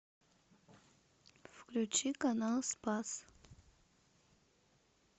включи канал спас